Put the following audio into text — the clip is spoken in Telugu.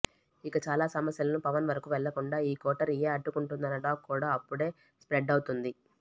ఇక చాలా సమస్యలను పవన్ వరకు వెళ్లకుండా ఈ కోటరీయే అడ్డుకుంటోందన్న టాక్ కూడా అప్పుడే స్ప్రెడ్ అవుతోంది